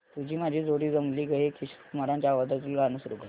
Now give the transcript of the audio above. तुझी माझी जोडी जमली गं हे किशोर कुमारांच्या आवाजातील गाणं सुरू कर